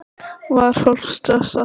Var fólk stressað?